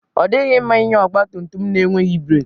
Ọ dịghị mma ịnya ọgba tum tum na-enweghị breek.